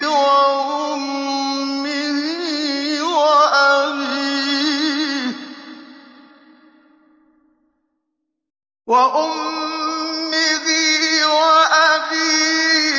وَأُمِّهِ وَأَبِيهِ